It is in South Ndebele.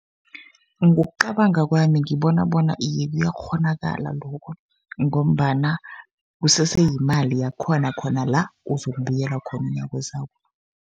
Ngokucabanga kwami ngibona bona iye kuyakghonakala lokho, ngombana kusese yimali yakhona khona la ozokubuyela khona umnyaka ozako.